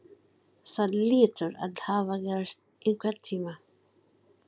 Það hlýtur að hafa gerst einhvern tíma.